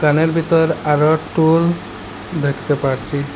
মলের ভিতর আরো টুল দেখতে পারছি।